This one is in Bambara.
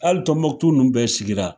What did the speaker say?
Hali Tɔnbɔkutu nunnu bɛɛ sigi la.